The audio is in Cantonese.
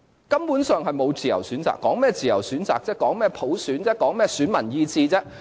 根本上就沒有自由選擇，說甚麼自由選擇；說甚麼普選；說甚麼選民意志。